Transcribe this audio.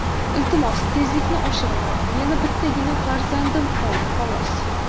Iltimos, tezlikni oshirma , meni bittagina farzandim qoldi, xolos.